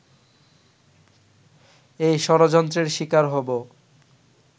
এই ষড়যন্ত্রের শিকার হবো